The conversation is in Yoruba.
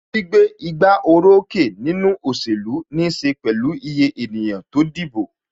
Gbígbé igbá orókè nínú òṣèlú níse pẹ̀lú iye ènìyàn tó dìbò.